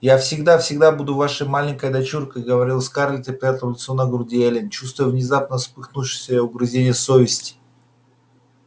я всегда всегда буду вашей маленькой дочуркой говорила скарлетт и прятала лицо на груди эллин чувствуя внезапно вспыхнувшие угрызения совести